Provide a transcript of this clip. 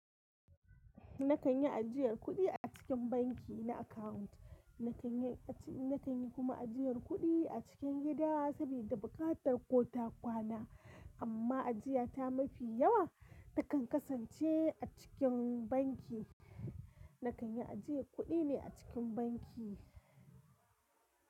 Na kan yi ajiyar kuɗi a cikin banki na akawunt, na kan yi kuma ajiyar kuɗi a cikin gida sabida buƙatar ko ta kwana. Amma ajiya ta mafi yawa takan kasance a cikin banki. Na kan yi ajiyar kuɗi ne a cikin banki.